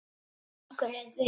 Okkur leið vel.